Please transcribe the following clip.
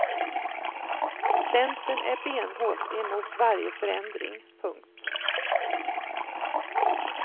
Centern är benhårt emot varje förändring. punkt